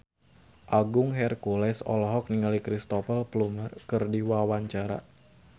Agung Hercules olohok ningali Cristhoper Plumer keur diwawancara